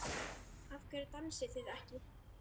Af hverju dansið þið ekki?